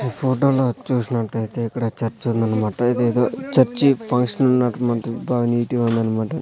ఈ ఫోటో లో చూసినట్టయితే ఇక్కడ చర్చ్ ఉందన్నమాట ఇదేదో చర్చ్ ఫంక్షన్ ఉన్నట్టు మనకి బా నీటు గా ఉందన్నమాట.